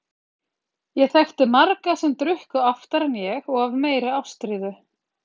Ég þekkti marga sem drukku oftar en ég og af meiri ástríðu.